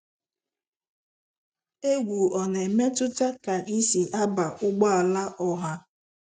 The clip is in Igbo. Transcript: Egwu ọ na-emetụta ka I si aba ụgbọ ala ọha.